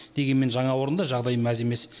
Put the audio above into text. дегенмен жаңа орында жағдай мәз емес